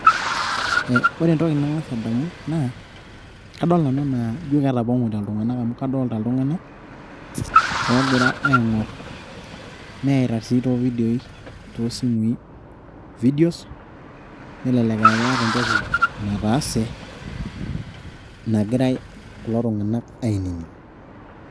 Ee ore entoki nang'as adamu naa kadol Nanu ajo ketapong'ote iltung'anak amu kadaalta iltung'anak oogira aing'orr neyita sii too ividioii toosimui videos nelelek aa keeta entoki nataase naa kegira kulo Tung'anak ainining'.